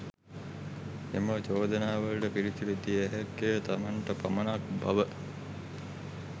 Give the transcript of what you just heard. එම චෝදනාවලට පිළිතුරු දිය හැක්කේ තමන්ට පමණක් බව